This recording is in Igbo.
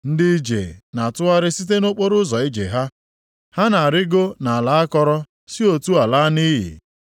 Ndị ije na-atụgharị site nʼokporoụzọ ije ha. Ha na-arịgo nʼala akọrọ si otu a laa nʼiyi.